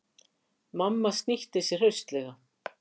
Mamma snýtti sér hraustlega.